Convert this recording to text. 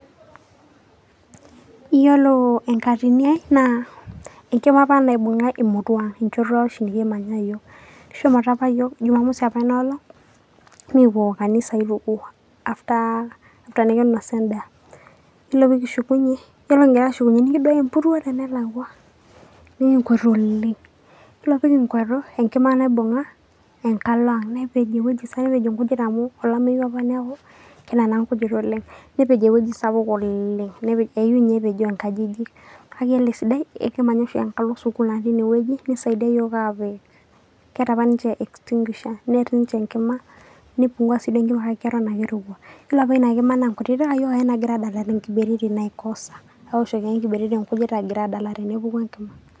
Iyiolo enkatini ai naa enkima apa naibunga emurua Ang enchoto oshi nikimanya iyiook . Kishomoita apa yiook ,jumamosi apa Ina olong ,nikipuo kanisa aituku ,after ,after nikinosa en'daa .yiolo pikishukunyie ,yiolo kingira ashukunyie ,nikiduaya empuruo tenelakwa ,nikikwatu oleng . Yiolo pikikwatu ,enkima naibunga enkala Ang .nepej ewueji sapuk amu olameyu apa niaku meeta naa nkujit oleng. Nepej ewueji sapuk oleng ,eyieu inye epejoo nkajijik . Kake iyiolo esidai ekimanya oshi enkalo sukuul natii ine wueji neisaidia iyiook apuo, keeta apa ninche extinguisher near ninche enkima ,nipungua enkima kake keton ake